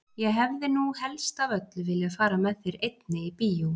Ég hefði nú helst af öllu viljað fara með þér einni í bíó!